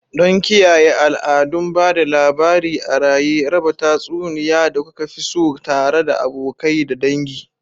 Don kiyaye al'adun ba da labari a raye, raba tatsuniya da kuka fi so tare da abokai da dangi.